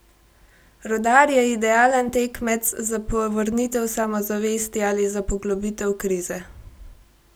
Rudar je idealen tekmec za povrnitev samozavesti ali za poglobitev krize!